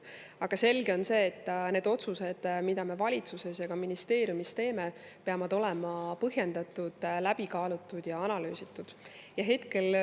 Aga selge on see, et need otsused, mida me valitsuses ja ka ministeeriumis teeme, peavad olema põhjendatud, läbikaalutud ja analüüsitud.